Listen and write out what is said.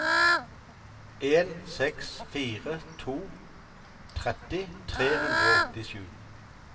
en seks fire to tretti tre hundre og åttisju